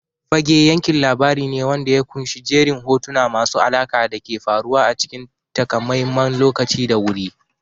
Fage yankin labari ne wanda ya ƙunshi jerin hotuna masu alaƙa da ke faruwa a cikin takamaiman lokaci da wuri.